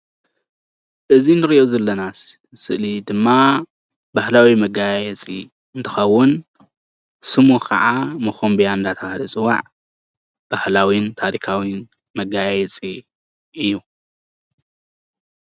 እዚ እንሪኦ ዘለና ስእሊ ድማ ባህላዊ መገያየፂ እንትኸዉን ስሙ ከዓ ሞኾምብያ እናተባሃለ ዝፅዋዕ ባህላውን ታሪኻውን መገያየፂ እዩ።